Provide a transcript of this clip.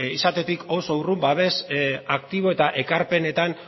izatetik oso urrun babes aktibo eta ekarpenetan